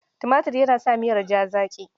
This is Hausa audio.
Tumatur yana sa miyar ja zaƙi.